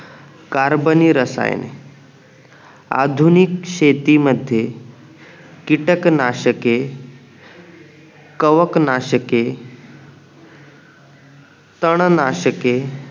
कार्बनीय रसायन आधुनिक शेती मध्ये कीटक नाशके कवक नाशके तण नाशके